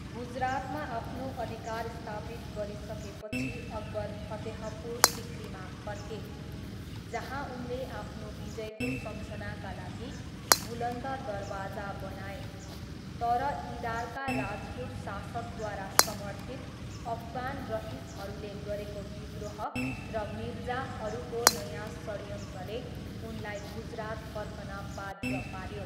गुजरातमा आफ्नो अधिकार स्थापित गरिसकेपछि अकबर फतेहपुर सिकरीमा फर्के, जहाँ उनले आफ्नो विजयको सम्झनाका लागि बुलन्द दरवाजा बनाए, तर इदारका राजपूत शासकद्वारा समर्थित अफगान रइसहरूले गरेको विद्रोह र मिर्जाहरूको नयाँ षड्यन्त्रले उनलाई गुजरात फर्कन बाध्य पाऱ्यो।